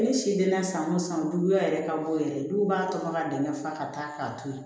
Ne si denna san o san duguya yɛrɛ ka bɔ yɛrɛ dɔw b'a tɔmɔ ka dɛngɛ fa ka taa k'a to yen